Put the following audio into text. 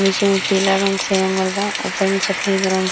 नीचे में पीला रंग से रंगल बा। ऊपर में सफेद रंग --